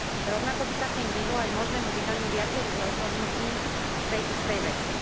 Rovnako by sa tým vyhlo aj možnému vydaniu viacerých rozhodnutí v tej istej veci.